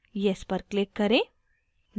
yes पर click करें